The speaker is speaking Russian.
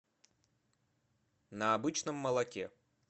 на обычном молоке